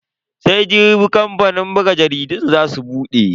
Sai Jibi kamfanin buga jaridun za su bude.